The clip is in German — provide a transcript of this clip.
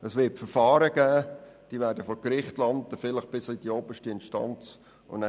Es wird Verfahren geben, die vor Gericht landen und vielleicht bis zur obersten Instanz weitergezogen werden.